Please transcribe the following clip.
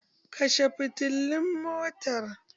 Kashe fitilun motar!